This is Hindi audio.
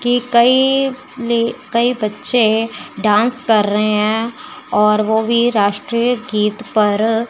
कि कई ली कई बच्चे डांस कर रहे हैं और वो भी राष्ट्रीय गीत पर।